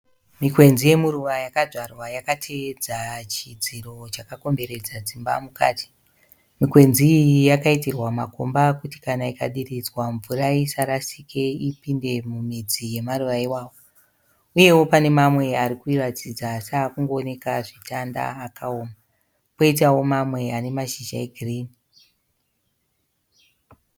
Mikwenzi yemuruva yakadzvarwa yakateedza chidziro chakakomberedza dzimba mukati. Mikwenzi iyi yakaitirwa makomba kuti kana ikadiridzwa mvura isarasike ipinde mumidzi yemaruva iwavo. uye pane mamwe ari kuratidza seari kungooneka zvitanda akaoma, koitawo mamwe ane mashizha egirini.